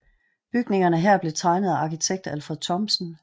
Bygningerne her blev tegnet af arkitekt Alfred Thomsen